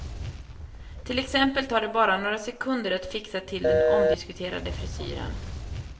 Till exempel tar det bara några sekunder att fixa till den omdiskuterade frisyren.